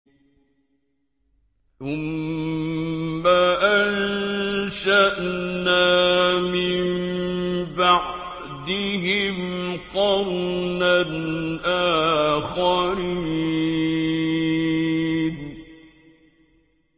ثُمَّ أَنشَأْنَا مِن بَعْدِهِمْ قَرْنًا آخَرِينَ